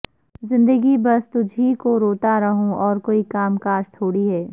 زندگی بس تجھی کو روتا رہوں اور کوئی کام کاج تھوڑی ہے